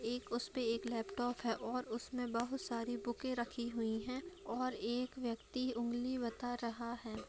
एक उसपे एक लैपटॉप है और उसमें बहुत सारी बुकें रखी हुई हैं और एक व्यक्ति उंगली बता रहा है।